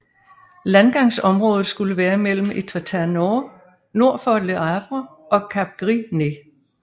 Landgangsområdet skulle være mellem Étretat nord for Le Havre og Cap Gris Nez